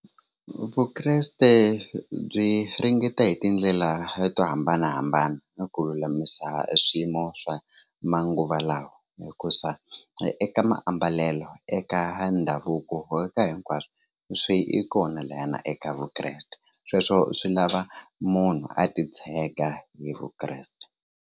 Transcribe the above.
Vukreste byi ringeta hi tindlela to hambanahambana na ku lulamisa swiyimo swa manguva lawa hikusa eka maambalelo eka ndhavuko eka hinkwaswo swi kona lahayana eka vukreste sweswo swi lava munhu a titshega hi vukreste.